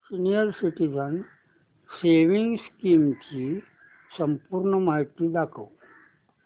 senior citizens savings scheme ची संपूर्ण माहिती दाखव